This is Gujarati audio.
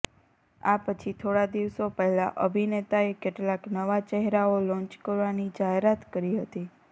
આ પછી થોડા દિવસો પહેલા અભિનેતાએ કેટલાક નવા ચહેરાઓ લોંચ કરવાની જાહેરાત કરી હતી